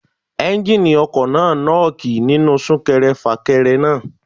Ẹ́njíníì ọkọ̀ náà nọ́ọ́kì nínú sún kẹrẹ fà kẹrẹ náà.